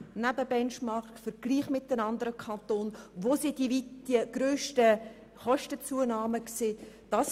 Man hat den Benchmark betrachtet, den Vergleich mit den anderen Kantonen, und geschaut, wo die Kostenzunahmen am grössten sind.